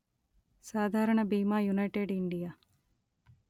సాధారణ బీమా United India